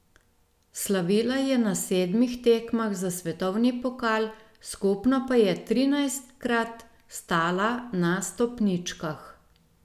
Slavila je na sedmih tekmah za svetovni pokal, skupno pa je trinajstkrat stala na stopničkah.